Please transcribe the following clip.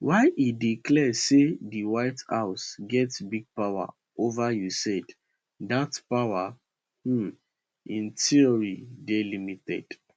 while e dey clear say di white house get big influence ova usaid dat power um in theory dey limited